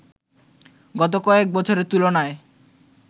গত কয়েক বছরের তুলনায়